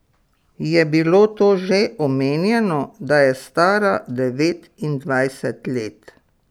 Je bilo to že omenjeno, da je stara devetindvajset let?